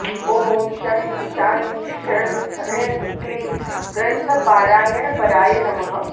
ॐ शं शां षं ह्रीं क्लीं ग्रन्थपारायणपराय नमः